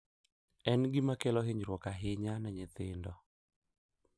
En gima kelo hinyruok ahinya ne nyithindo